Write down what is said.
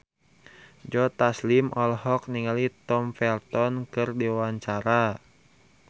Joe Taslim olohok ningali Tom Felton keur diwawancara